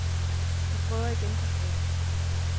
Vi prøver igen på fredag.